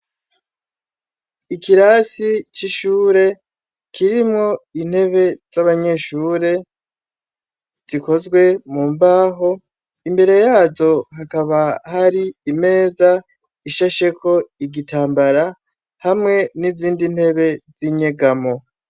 Ikirasi c'ishure kirimwo intebe z'abanyeshure zikozwe mu mbaho, imbere yazo hakaba hari imeza ishasheko igitambara hamwe n'izindi ntebe z'inyegamo.